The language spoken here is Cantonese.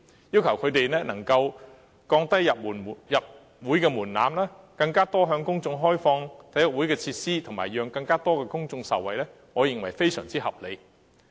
要求他們降低入會門檻，更多向公眾開放體育會的設施，讓更多公眾受惠，我認為是非常合理的。